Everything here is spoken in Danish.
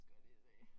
Skal jeg lige se